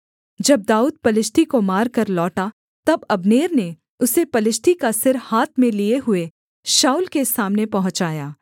जब दाऊद पलिश्ती को मारकर लौटा तब अब्नेर ने उसे पलिश्ती का सिर हाथ में लिए हुए शाऊल के सामने पहुँचाया